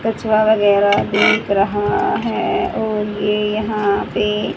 कछुआ वगैरा दिख रहा है और ये यहां पे--